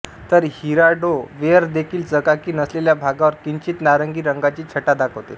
तर Hirado ware देखील चकाकी नसलेल्या भागावर किंचित नारिंगी रंगाची छटा दाखवते